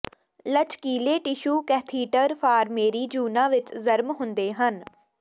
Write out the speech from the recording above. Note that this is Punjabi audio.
ਲਚਕੀਲੇ ਟਿਸ਼ੂ ਕੈਥੀਟਰ ਫਾਰਮੇਰੀ ਜੂਨਾਂ ਵਿਚ ਜਰਮ ਹੁੰਦੇ ਹਨ